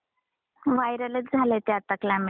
Viral च झालंय आता ते क्लायमेट.